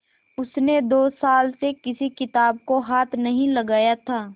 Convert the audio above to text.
उसने दो साल से किसी किताब को हाथ नहीं लगाया था